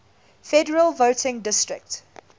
federal voting district